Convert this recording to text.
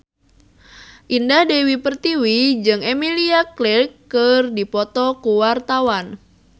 Indah Dewi Pertiwi jeung Emilia Clarke keur dipoto ku wartawan